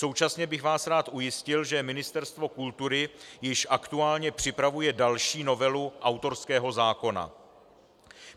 Současně bych vás rád ujistil, že Ministerstvo kultury již aktuálně připravuje další novelu autorského zákona.